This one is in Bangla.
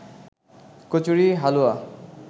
কচুরি, হালুয়া